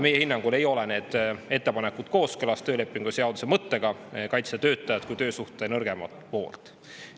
Meie hinnangul ei ole need ettepanekud kooskõlas töölepingu seaduse mõttega kaitsta töötajat kui töösuhte nõrgemat poolt.